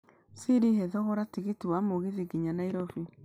siri he thogora tigiti wa mũgithi nginya nairobi